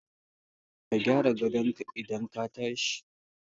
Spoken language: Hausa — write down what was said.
Ka gyara gadon ka idan ka tashi